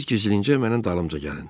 Siz gizlincə mənim dalımca gəlin.